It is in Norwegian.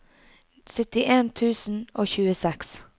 syttien tusen og tjueseks